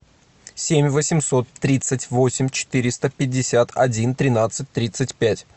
семь восемьсот тридцать восемь четыреста пятьдесят один тринадцать тридцать пять